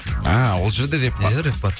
а ол жерде рэп бар иә рэп бар